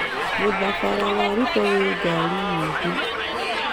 Mũthabara wa Ruto wĩ ngari nyingĩ.